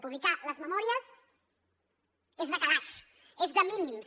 publicar les memòries és de calaix és de mínims